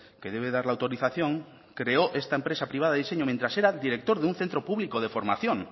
que debe dar la autorización creó esta empresa privada de diseño mientras era director de un centro público de formación